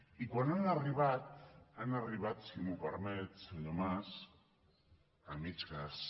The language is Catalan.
i quan han arribat han arribat si m’ho permet senyor mas a mig gas